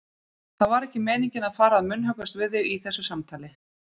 Það var ekki meiningin að fara að munnhöggvast við þig í þessu samtali.